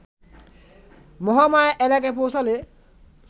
মহামায়া এলাকায় পৌঁছালে